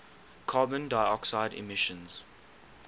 carbon dioxide emissions